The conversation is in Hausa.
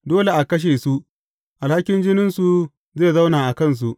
Dole a kashe su, alhakin jininsu zai zauna a kansu.